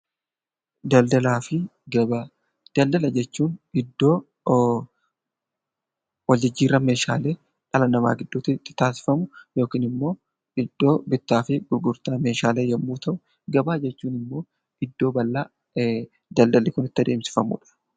Daldala jechuun iddoo wal jijjiirraa meeshaalee dhala namaatii gidduutti taasifamu yookiin immoo iddoo bittaa fi gurgurtaa meeshaalee yommuu ta'u, gabaa jechuun immoo iddoo bal'aa daldalli kun itti adeemsifamudha.